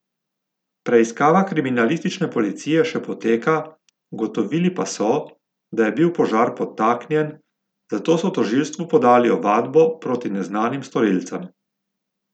Preiskava kriminalistične policije še poteka, ugotovili pa so, da je bil požar podtaknjen, zato so tožilstvu podali ovadbo proti neznanim storilcem.